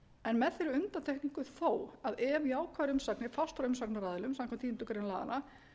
en með þeirri undantekningu þó að ef jákvæðar umsagnir fást frá umsagnaraðilum samkvæmt tíundu grein laganna